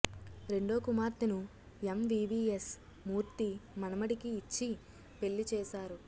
రెండో కుమార్తెను ఎంవీవీఎస్ మూర్తి మనమడికి ఇచ్చి పెళ్లి చేశారు